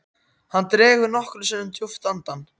Hann dregur nokkrum sinnum djúpt andann.